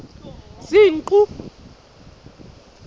senqu